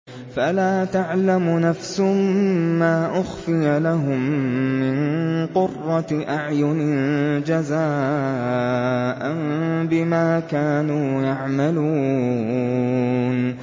فَلَا تَعْلَمُ نَفْسٌ مَّا أُخْفِيَ لَهُم مِّن قُرَّةِ أَعْيُنٍ جَزَاءً بِمَا كَانُوا يَعْمَلُونَ